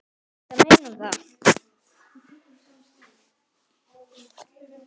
Ertu að meina það?